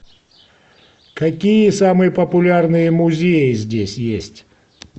какие самые популярные музеи здесь есть